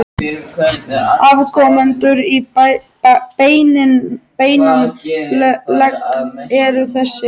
Afkomendur í beinan legg eru þessir